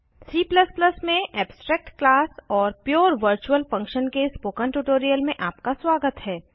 C में abstract class और pure virtual function के स्पोकन ट्यूटोरियल में आपका स्वागत है